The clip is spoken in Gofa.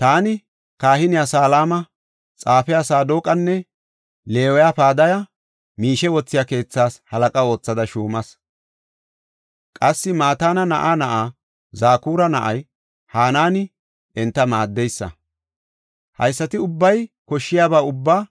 Taani kahiniya Salama, xaafiya Saadoqanne Leewiya Padaya miishe wothiya keethaas halaqa oothada shuumas. Qassi Mataana na7aa na7aa Zakura na7ay Hanaani enta maaddeysa. Haysati ubbay koshshiyaba ubbaa